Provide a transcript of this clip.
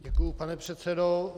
Děkuju, pane předsedo.